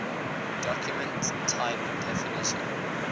document type definition